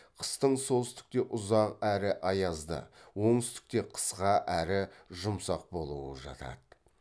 қыстың солтүстікте ұзақ әрі аязды оңтүстікте қысқа әрі жұмсақ болуы жатады